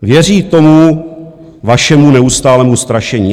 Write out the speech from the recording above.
Věří tomu vašemu neustálému strašení.